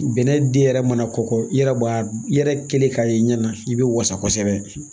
Bɛnɛ den yɛrɛ mana kɔkɔ i yɛrɛ b'a i yɛrɛ kelen k'a ye i ɲɛ na i bɛ wasa kosɛbɛ